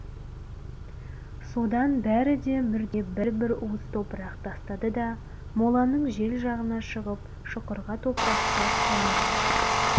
содан бәрі де мүрдеге бір-бір уыс топырақ тастады да моланың жел жағына шығып шұқырға топырақты әуелі